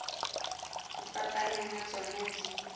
ho fapana ha tsona di